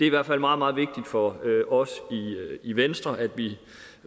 i hvert fald meget meget vigtigt for os i venstre at vi